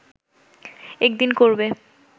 একদিন করবে